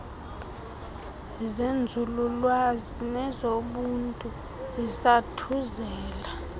zenzululwazi nezobuntu zizathuzela